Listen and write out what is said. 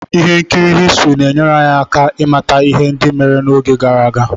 ihe nkiri Histrị na-enyere anyị aka ịmata ihe ndị mere n'oge gara aga